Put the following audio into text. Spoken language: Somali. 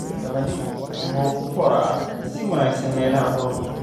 Qamadi wuxuu ku koraa si wanaagsan meelaha kulul.